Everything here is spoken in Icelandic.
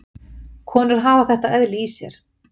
Konur hafa þetta eðli í sér.